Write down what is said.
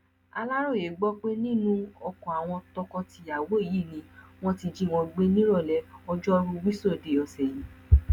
aláròye gbọ pé nínú oko àwọn tọkọtìyàwó yìí ni wọn ti jí wọn gbé nírọlẹ ọjọrùú wíṣọdẹ ọsẹ yìí